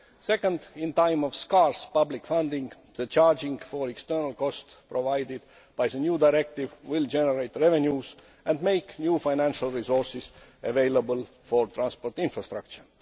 Secondly, at a time of scarce public funding, the charging for external costs provided by the new directive will generate revenues and make new financial resources available for transport infrastructure.